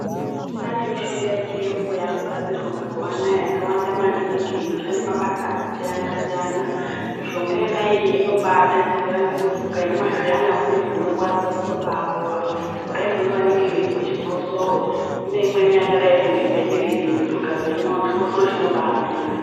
Kwaane mishonga yechiyungu yakugadzirwa mazuwa anaya yakawanda maningi inoshande mabasa akasiyana-siyana, mishonga iyona iyoyo inobadetsera ngekuti ukaimwa zviyana uine zvinorwadza zvinobaapora, kudaiko ngevanenge veizwe chikosoro kune imweni yakadaiko nge Benirini yekuti ukaimwa chikosoro chinobaamira.